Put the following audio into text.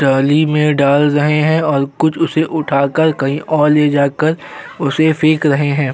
टाली में डाल रहे हैं और कुछ उसे उठाकर कहीं और ले जाकर उसे फेंक रहे हैं।